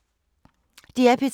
DR P3